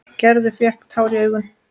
Gerður fékk tár í augun.